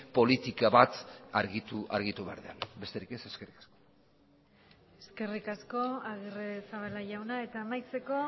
politika bat argitu behar denean besterik ez eskerrik asko eskerrik asko agirrezabala jauna eta amaitzeko